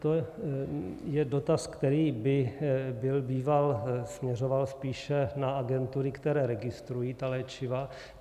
To je dotaz, který by byl býval směřoval spíše na agentury, které registrují ta léčiva.